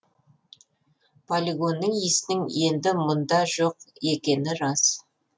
полигонның исінің енді мұнда жоқ екені рас